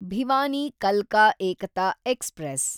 ಭಿವಾನಿ ಕಲ್ಕಾ ಏಕತಾ ಎಕ್ಸ್‌ಪ್ರೆಸ್